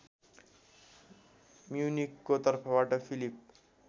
म्युनिखको तर्फबाट फिलिप